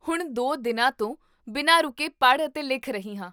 ਹੁਣ ਦੋ ਦਿਨਾਂ ਤੋਂ ਬਿਨਾਂ ਰੁਕੇ ਪੜ੍ਹ ਅਤੇ ਲਿਖ ਰਹੀ ਹਾਂ